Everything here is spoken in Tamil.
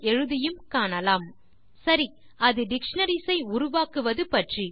| |357 |ltcontinue ப்ரோம் பாஸ்ட் ஸ்டேட்டெக்ட் சரி அது டிக்ஷனரிஸ் ஐ உருவாக்குவது பற்றி